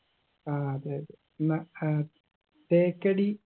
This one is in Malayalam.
ആ അതെ അതെ ന്നാ ഏർ തേക്കടി